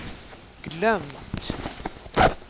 glömt